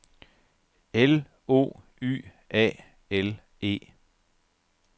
L O Y A L E